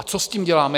A co s tím děláme?